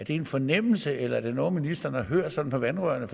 en fornemmelse eller er det noget som ministeren har hørt sådan på vandrørene